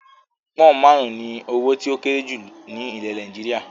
Pọnn máarun ni owó tí ó kéré jù ni ilẹ̀ Nàìjíríà.